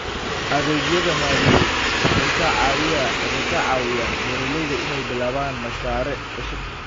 Adeegyada maaliyadeed waxay ka caawiyaan beeralayda inay bilaabaan mashaariic cusub.